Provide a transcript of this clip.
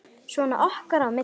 Svona okkar á milli.